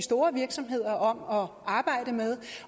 store virksomheder om om at arbejde med